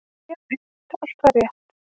Já, einmitt, allt var rétt.